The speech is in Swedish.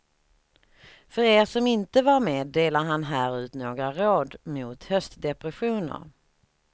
För er som inte var med delar han här ut några råd mot höstdepressioner.